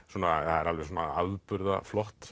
það er alveg svona